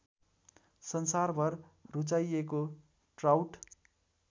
संसारभर रुचाइएको ट्राउट